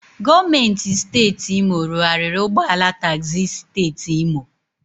Gọọmenti siteeti Imo rụarịrị ụgbọala tagzi siteeti Imo.